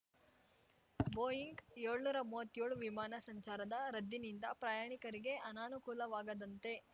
Boeing ಏಳ್ನೂರಾ ಮೂವತ್ತೇಳು ವಿಮಾನ ಸಂಚಾರದ ರದ್ದಿನಿಂದ ಪ್ರಯಾಣಿಕರಿಗೆ ಅನಾನುಕೂಲವಾಗದಂತೆ